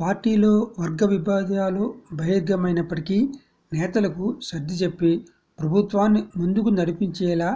పార్టీలో వర్గవిబేధాలు బహిర్గమైనప్పటికీ నేతలకు సర్ధిచెప్పి ప్రభుత్వాన్ని ముందుకు నడిపించేలా